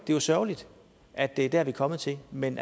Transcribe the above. jo sørgeligt at det er der det er kommet til men